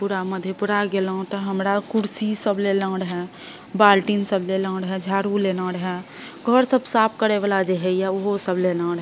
पूरा मधेपुरा गैलों ते हमरा कुर्सी सब लेलो रहे बाल्टीन सब लेलो रहो झाड़ू लेलो रहो घर सब साफ करे वाला जे होय ये ऊहो सब लेलो रहे --